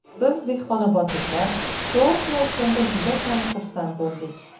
Biz, dehqonobodliklar, to‘g‘risini aytganda, juda ham xursand bo‘ldik.